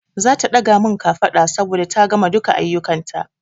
Zata ɗaga min kafada saboda ta gama duka aiyukan ta